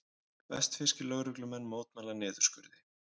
Vestfirskir lögreglumenn mótmæla niðurskurði